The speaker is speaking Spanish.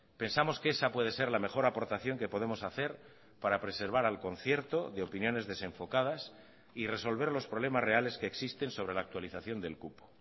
pensamos que esa puede ser la mejor aportación que podemos hacer para preservar al concierto de opiniones desenfocadas y resolver los problemas reales que existen sobre la actualización del cupo